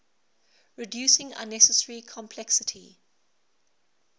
reducing unnecessary complexity